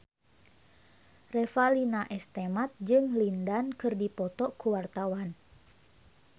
Revalina S. Temat jeung Lin Dan keur dipoto ku wartawan